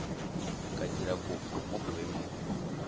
ka dira kopo mo boemong